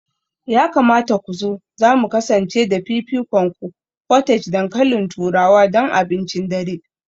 Ya kamata ku zo, za mu kasance da fifikonku; portage dankalin turawa don abincin dare